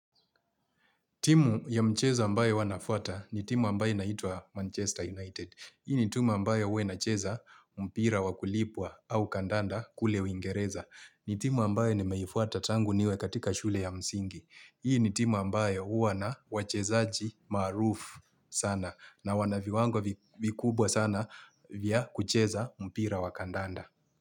Timu ya mchezo ambayo huwa nafuata ni timu ambayo inaitwa Manchester United. Hii ni timu ambayo huwa inacheza mpira wa kulipwa au kandanda kule uingereza. Ni timu ambayo nimeifuata tangu niwe katika shule ya msingi. Hii ni timu ambayo huwa na wachezaji maarufu sana na wana viwango vikubwa sana vya kucheza mpira wa kandanda.